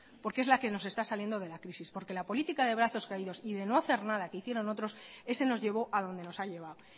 porque es la que nos está saliendo de la crisis porque la política de brazos caídos y de no hacer nada que hicieron otros ese nos llevó a donde nos ha llevado